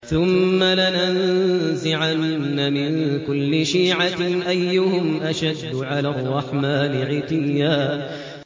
ثُمَّ لَنَنزِعَنَّ مِن كُلِّ شِيعَةٍ أَيُّهُمْ أَشَدُّ عَلَى الرَّحْمَٰنِ عِتِيًّا